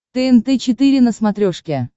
тнт четыре на смотрешке